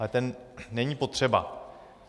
Ale ten není potřeba.